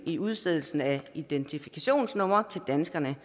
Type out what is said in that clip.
i udstedelsen af identifikationsnumre til danskerne